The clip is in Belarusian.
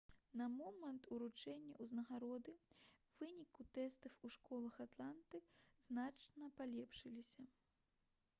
на момант уручэння ўзнагароды вынікі тэстаў у школах атланты значна палепшыліся